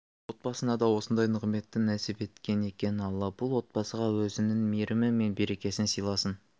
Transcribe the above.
отбасына да осындай нығметті нәсіп еткен екен алла бұл отбасыға өзінің мейірімі мен берекесін сыйласын